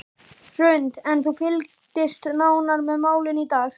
Hrund: En þú fylgdist nánar með málinu í dag?